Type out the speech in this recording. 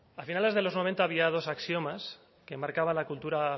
a finales de los noventa había dos axiomas que marcaban la cultura